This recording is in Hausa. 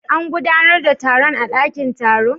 An gudanar da taron a dakin taro?